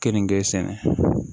Keninge sɛnɛ